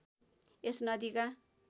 यस नदीका